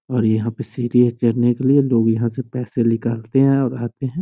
और यहाँ पे सीढियां चढ़ने के लिए लोग यहाँ से पैसे निकालते है और आते है।